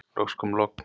Loks kom logn.